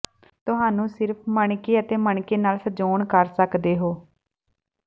ਤੁਹਾਨੂੰ ਸਿਰਫ਼ ਮਣਕੇ ਅਤੇ ਮਣਕੇ ਨਾਲ ਸਜਾਉਣ ਕਰ ਸਕਦੇ ਹੋ